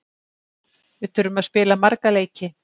Við þurfum að spila marga leiki.